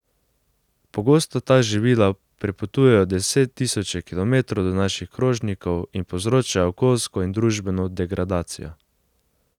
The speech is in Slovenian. Pogosto ta živila prepotujejo deset tisoče kilometrov do naših krožnikov in povzročajo okoljsko in družbeno degradacijo.